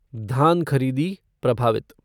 धान खरीदी प्रभावित